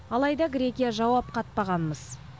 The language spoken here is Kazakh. алайда грекия жауап қатпаған мыс